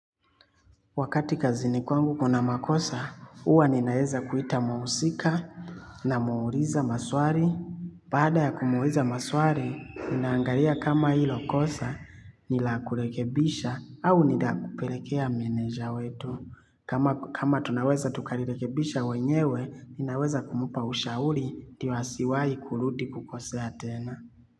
Wakati kazini kwangu kuna makosa, huwa ninaweza kuita mhusika na muuliza maswali. Baada ya kumuuliza maswali, ninaangalia kama hilo kosa ni la kurekebisha au ni la kupelekea meneja wetu. Kama tunaweza tukalirekebisha wenyewe, ninaweza kumpa ushauri ndio asiwahi kurudi kukosae tena.